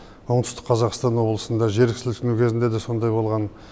оңтүстік қазақстан облысында жер сілкінісу кезінде де сондай болған